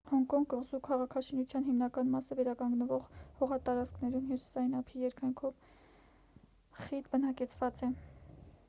հոնկոնգ կղզու քաղաքաշինության հիմնական մասը վերականգնվող հողատարածքներում հյուսիային ափի երկայնքով խիտ բնակեցված է